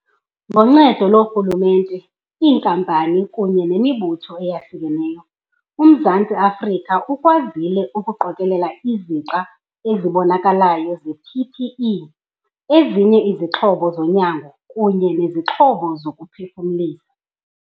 Ngoncedo loorhulumente, iinkampani kunye nemibutho eyahlukeneyo, uMzantsi Afrika ukwazile ukuqokelela izixa ezibonakalayo ze-PPE, ezinye izixhobo zonyango kunye nezixhobo zokuphefumlisa.